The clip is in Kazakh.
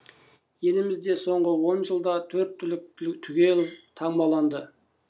елімізде соңғы он жылда төрт түлік түгел таңбаланды